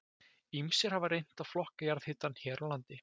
Ýmsir hafa reynt að flokka jarðhitann hér á landi.